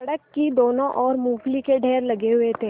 सड़क की दोनों ओर मूँगफली के ढेर लगे हुए थे